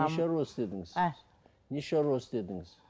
не шаруа істедіңіз а не шаруа істедіңіз